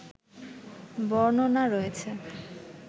বর্ণনা রয়েছে